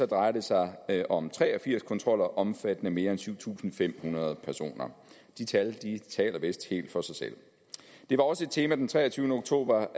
drejer det sig om tre og firs kontroller omfattende mere end syv tusind fem hundrede personer de tal taler vist helt for sig selv det var også et tema den treogtyvende oktober